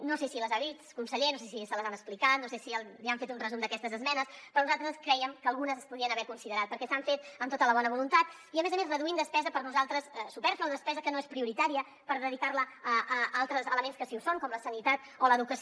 no sé si les ha vist conseller no sé si les hi han explicat no sé si li han fet un resum d’aquestes esmenes però nosaltres crèiem que algunes es podrien haver considerat perquè s’han fet amb tota la bona voluntat i a més a més reduint despesa per nosaltres supèrflua despesa que no és prioritària per dedicar la a altres elements que sí que ho són com la sanitat o l’educació